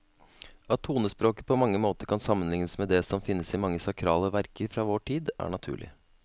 At tonespråket på mange måter kan sammenlignes med det som finnes i mange sakrale verker fra vår tid, er naturlig.